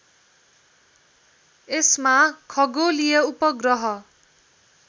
यसमा खगोलीय उपग्रह